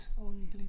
Oveni